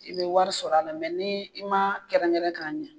I bɛ wari sɔr'a la ni i m'a kɛrɛnkɛrɛn k'a ɲɛ